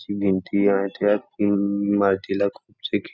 ती भिंती आहे त्या इमारतीला खूपसे खि--